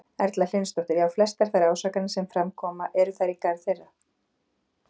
Erla Hlynsdóttir: Já, flestar þær ásakanir sem fram koma, eru þær í garð þeirra?